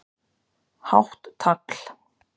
Hátt tagl